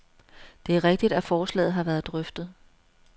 Det er rigtigt, at forslaget har været drøftet.